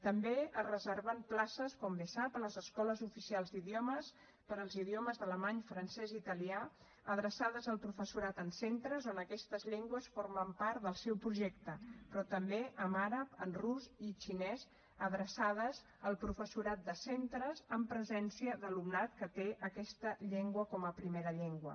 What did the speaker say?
també es reserven places com bé sap a les escoles oficials d’idiomes per als idiomes d’alemany francès i italià adreçades al professorat en centres on aquestes llengües formen part del seu projecte però també en àrab en rus i xinès adreçades al professorat de centres amb presència d’alumnat que té aquesta llengua com a primera llengua